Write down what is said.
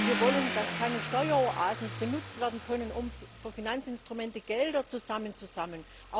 Wir wollen, dass keine Steueroasen benutzt werden können, um für Finanzinstrumente Gelder zu sammeln.